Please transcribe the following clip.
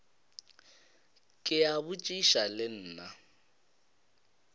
ke a botšiša le nna